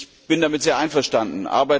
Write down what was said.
Ich bin damit sehr einverstanden.